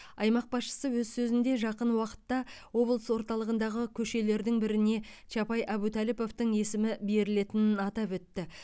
аймақ басшысы өз сөзінде жақын уақытта облыс орталығындағы көшелердің біріне чапай әбутәліповтың есімі берілетінін атап өтті